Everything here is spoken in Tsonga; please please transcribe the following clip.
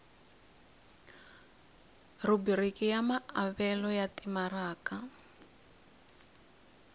rhubiriki ya maavelo ya timaraka